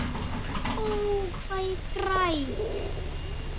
Ó, hvað ég græt.